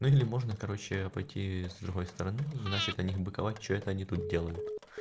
ну или можно короче пойти с другой стороны и начать на них быковать что это они тут делают